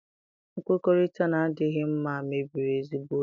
Nkwukọrịta na-adịghị mma mebiri ezigbo ụzọ.